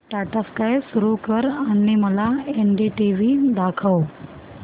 Tata sky सुरू कर आणि मला एनडीटीव्ही दाखव